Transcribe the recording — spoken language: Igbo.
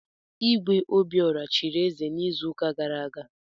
Igwe Obiora chiri eze n'izuụka gara aga.